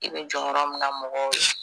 I bɛ jɔyɔrɔ min na mɔgɔw ye.